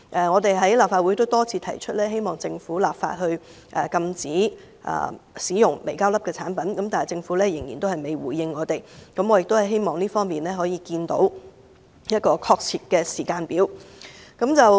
我們已在立法會多次提出，希望政府立法禁止使用微膠粒的產品，但政府未作出回應，我希望這方面可以看到一個確切的時間表。